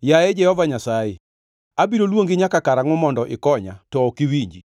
Yaye Jehova Nyasaye, abiro luongi nyaka karangʼo mondo ikonya to ok iwinji?